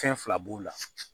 Fɛn fila b'o la